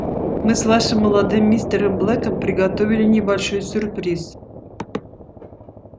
мы с вашим молодым мистером блэком приготовили небольшой сюрприз